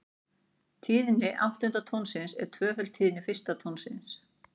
Tíðni áttunda tónsins er tvöföld tíðni fyrsta tónsins.